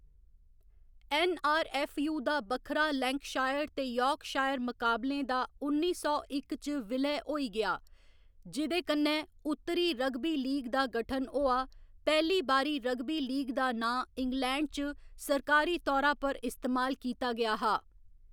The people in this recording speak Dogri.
ऐन्न.आर.ऐफ्फ.यू. दा बक्खरा लैंकशायर ते यार्कशायर मकाबलें दा उन्नी सौ इक च विलय होई गेआ, जिंकन्नै उत्तरी रग्बी लीग दा गठन होआ, पैह्‌ली बारी रग्बी लीग दा नांऽ इंग्लैंड च सरकारी तौरा पर इस्तेमाल कीता गेआ हा।